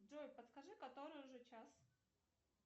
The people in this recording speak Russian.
джой подскажи который уже час